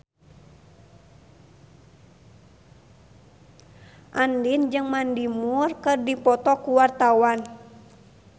Andien jeung Mandy Moore keur dipoto ku wartawan